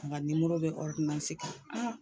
A ka nimoro bɛ kan